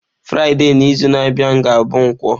Fraịde n'izu na-abịa ga-abụ nkwo.